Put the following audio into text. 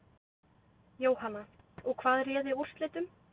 Jóhanna: Og hvað réði úrslitum?